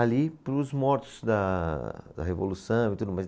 ali para os mortos da, da Revolução e tudo mais.